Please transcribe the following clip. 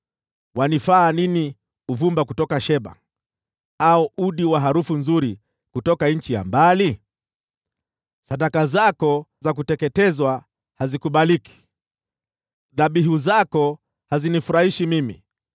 Unanifaa nini uvumba kutoka Sheba, au udi wa harufu nzuri kutoka nchi ya mbali? Sadaka zako za kuteketezwa hazikubaliki, dhabihu zako hazinifurahishi mimi.”